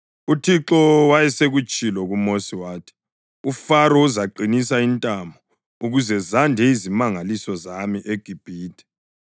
UThixo wayesetshilo kuMosi wathi, “UFaro uzaqinisa intamo, ukuze zande izimangaliso zami eGibhithe.”